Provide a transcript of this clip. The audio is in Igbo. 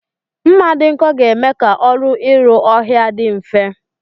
Mma dị nkọ ga-eme ka ọrụ isi ha ọhịa dị mfe